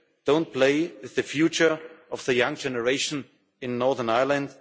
don't play with the future of the young generation in Northern Ireland.